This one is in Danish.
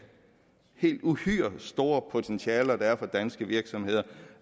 helt uhyre store potentialer der er for danske virksomheder